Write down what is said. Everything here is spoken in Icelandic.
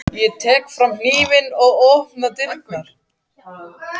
Ég tek fram hnífinn og opna dyrnar.